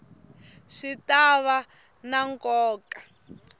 swi ta va na nkoka